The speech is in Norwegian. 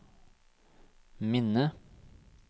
minne